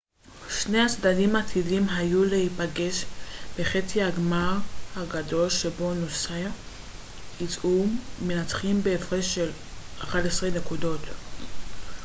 שני הצדדים עתידים היו להיפגש בחצי הגמר הגדול שבו נוסה יצאו מנצחים בהפרש של 11 נקודות